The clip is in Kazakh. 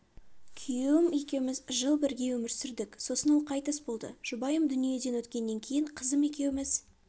күйеуім екеуміз жыл бірге өмір сүрдік сосын ол қайтыс болды жұбайым дүниеден өткеннен кейін қызым екеуміз